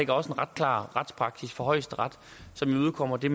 også en ret klar retspraksis fra højesteret som imødekommer det